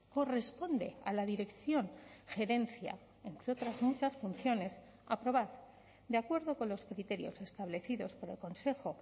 corresponde a la dirección gerencia entre otras muchas funciones aprobar de acuerdo con los criterios establecidos por el consejo